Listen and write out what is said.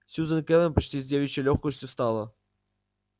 сьюзен кэлвин почти с девичьей лёгкостью встала